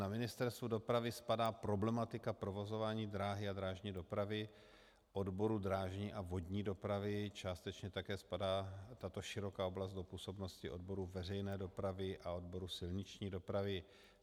Na Ministerstvu dopravy spadá problematika provozování dráhy a drážní dopravy odboru drážní a vodní dopravy, částečně také spadá tato široká oblast do působnosti odboru veřejné dopravy a odboru silniční dopravy.